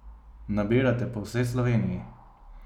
Nabirate po vsej Sloveniji?